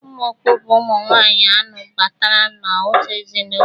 Ụmụ okpu bụ ụmụ nwaanyị anụ batara n'otu ezinaụlọ